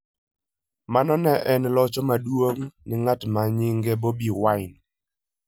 Mano ne en locho maduong' ne Ng'at ma nyinge Bobi Wine.